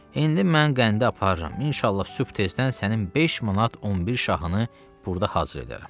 İndi mən qəndi aparıram, inşallah sübh tezdən sənin 5 manat 11 şahını burda hazır edərəm.